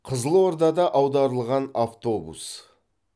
қызылордада аударылған автобус